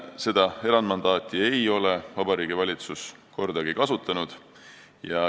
Seda erandmandaati ei ole Vabariigi Valitsus kordagi kasutanud.